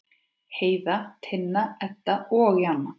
Heiða, Tinna, Edda og Jana.